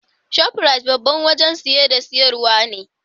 Shafrat Babban wajan siye da siyarwa ne